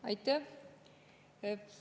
Aitäh!